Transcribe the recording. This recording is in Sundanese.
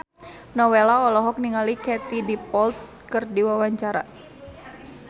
Nowela olohok ningali Katie Dippold keur diwawancara